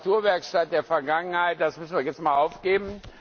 Die Reparaturwerkstatt der Vergangenheit müssen wir jetzt einmal aufgeben.